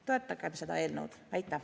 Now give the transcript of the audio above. Toetagem seda eelnõu!